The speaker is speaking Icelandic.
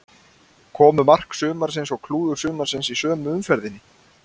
Komu mark sumarsins og klúður sumarsins í sömu umferðinni?